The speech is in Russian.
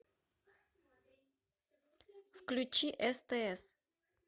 включи стс